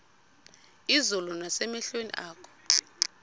izulu nasemehlweni akho